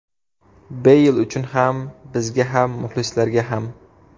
Beyl uchun ham, bizga ham muxlislarga ham.